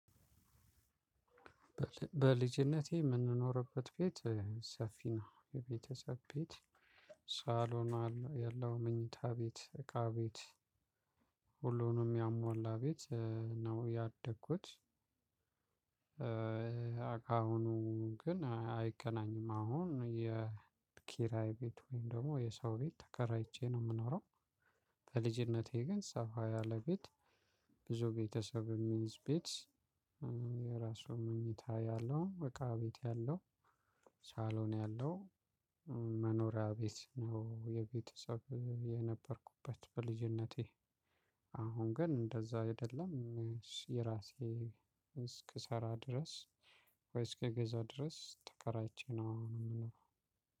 በልጅነቴ የምንኖርበት ቤት ሰፊ ነው የቤተሰብ ቤት ሳሎን ያለው መኝታ ቤት እቃ ቤት ሁሉንም ያሟላ ቤት ነው። ያደግኩት አሁኑ ግን አይገናኝም አሁን የኪራይ ቤት ወይም ደግሞ የሰው ቤት ተከራይቼ ነው የምኖረው። በልጅነቴ ግን ሰፋ ያለ ቤት ብዙ ቤተሰብም ሚይዝ ቤት። የራሱ መኝታ ያለው እቃ ቤት ያለው ሳሎን ያለው መኖሪያ ቤት ነው። የቤተሰብ የነበርኩበት በልጅነቴ አሁን ግን እንደዛ አይደለም። የራሴ እስክሰራ ድረስ ወይ እስክገዛ ድረስ ተከራይቼ ነው።